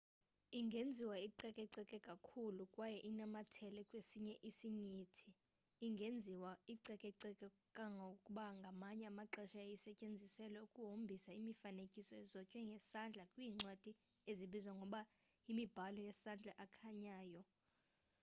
ingenziwa icekeceke kakhulu kwaye inamathele kwesinye isinyithi ingenziwa icekeceke kangangokuba ngamanye amaxesha yayisetyenziselwa ukuhombisa imifanekiso ezotywe ngesandla kwiincwadi ezibizwa ngokuba yimibhalo yesandla ekhanyayo